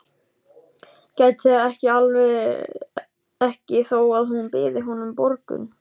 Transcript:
Gæti það ekki þó að hún byði honum borgun.